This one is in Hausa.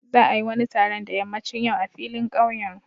Za a yi wani taron da ƴammacin yau a filin ƙauyen.